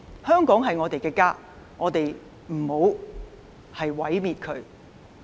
香港是我們的家，我們不要毀滅它。